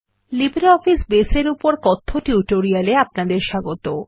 LibreOffice Base এর উপর কথ্য টিউটোরিয়ালে আপনাদের স্বাগত